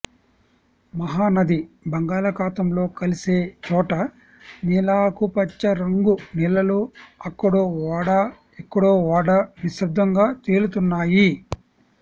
మహానది బంగాళాఘాతంలో కలిసే చోట నీలాకుపచ్చ రంగు నీళ్ళల్లో అక్కడో ఓడా ఇక్కడో ఓడా నిశ్శబ్దంగా తేలుతున్నాయి